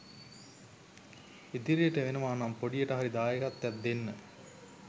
ඉදිරියට වෙනවනම් පොඩියට හරි දායකත්වයක් දෙන්න.